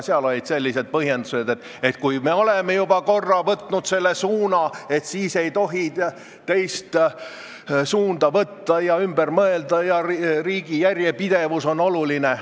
Olid sellised põhjendused, et kui me oleme juba korra võtnud selle suuna, siis ei tohi teist suunda võtta ja ümber mõelda, riigi järjepidevus on oluline.